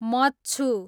मच्छु